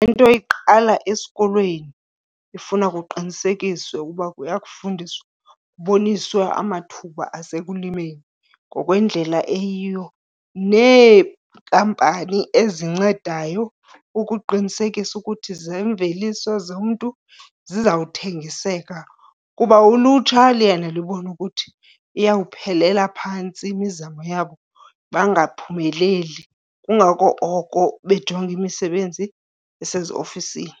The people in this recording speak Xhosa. Into iqala esikolweni, ifuna kuqinisekiswe uba kuyakufundiswa kuboniswe amathuba asekulimeni ngokwendlela eyiyo. Neenkampani ezincedayo ukuqinisekisa ukuthi zemveliso zomntu zizawuthengiseka, kuba ulutsha liyena libona ukuthi iyawuphelela phantsi imizamo yabo bangaphumeleli. Kungako oko bejonga imisebenzi eseziofisini.